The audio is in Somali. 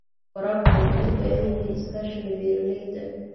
Waraabka wuxuu u baahan yahay iskaashiga beeralayda.